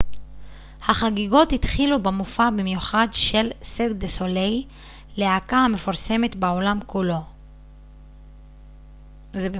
החגיגות התחילו במופע מיוחד של סירק דה סוליי להקה המפורסמת בעולם כולו